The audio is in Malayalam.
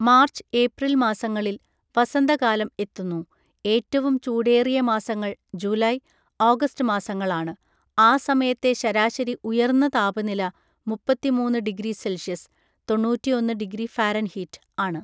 മാർച്ച് ഏപ്രിൽ മാസങ്ങളിൽ വസന്തകാലം എത്തുന്നു, ഏറ്റവും ചൂടേറിയ മാസങ്ങൾ ജൂലൈ, ഓഗസ്റ്റ് മാസങ്ങളാണ്, ആ സമയത്തെ ശരാശരി ഉയർന്ന താപനില മുപ്പത്തിമൂന്ന് ഡിഗ്രി സെൽഷ്യസ് (തൊണ്ണൂറ്റിയൊന്ന് ഡിഗ്രി ഫാരെൻ ഹീറ്റ്) ആണ്.